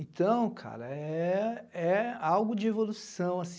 Então, cara, é é algo de evolução